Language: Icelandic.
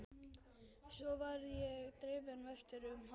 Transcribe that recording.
Svo var ég drifinn vestur um haf.